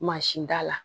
Mansinda la